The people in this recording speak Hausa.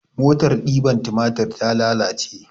Motar ɗiban tumatir ta lalace